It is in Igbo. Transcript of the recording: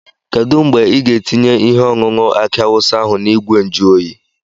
Kedu mgbe ị ga-etinye ihe ọṅụṅụ aki awụsa ahụ n'ìgwè njuoyi?